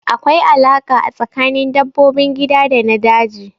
Akwai alaƙa a tsakanin dabbobin gida da na daji